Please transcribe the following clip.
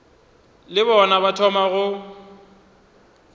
le bona ba thoma go